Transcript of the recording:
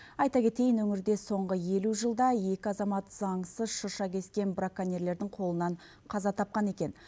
айта кетейін өңірде соңғы елу жылда екі азамат заңсыз шырша кескен браконьерлердің қолынан қаза тапқан екен